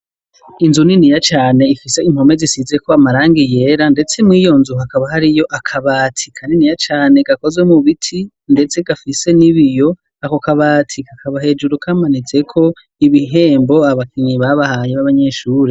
Inzu niniya cane ifise impome zisize ko amaranga iyera ndetse mu iyonzu akaba hari yo akabati kaniniya cane gakozwe mu biti ndetse gafise n'ibiyo ako kabati kakaba hejuru kamanitse ko ibihembo abakinyi babahaye b'abanyeshuri.